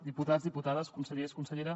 diputats diputades consellers consellera